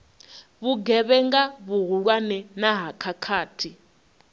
vhugevhenga vhuhulwane na ha khakhathi